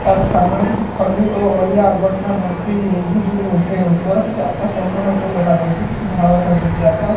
ତା ପରେ ସାମ୍ନା ରେ କିଛି ଖଲି ଓ ଅଳିଆ ଆବର୍ଜନା ଭର୍ତ୍ତି ହେଇଯାଇଚି ଯୋଉଠି ରୋଷେଇ ହଉଥିବାର କିଛି ଆକାଶ ସଂପୂର୍ଣ୍ଣ ଉପରୁ ଦେଖାଯାଉଚି କିଛି ଧଳା ଦେଖାଯାଉଚି ଆକାଶ।